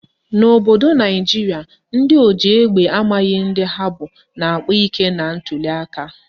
N'obodo Naijiria, ndị oji egbe amaghị ndị ha bụ na-akpa ike na ntuliaka